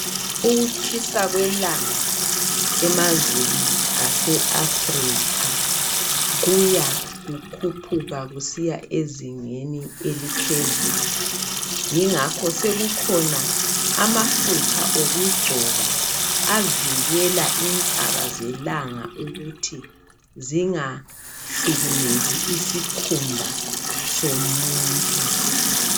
Ukutshisa kwelanga emazweni ase Africa kuya kukhuphuka kusiya ezingeni eliphezulu yingakho sokukhona amafutha okugcoba avikela insaba zelanga ukuthi zingahlukumezi isikhumba somuntu.